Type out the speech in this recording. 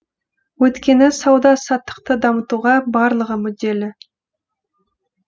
өйткені сауда саттықты дамытуға барлығы мүдделі